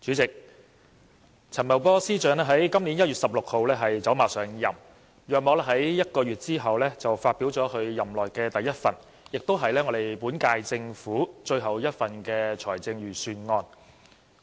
主席，陳茂波司長在今年1月16日走馬上任，並在約1個月後發表其任內的第一份，亦是本屆政府的最後一份財政預算案。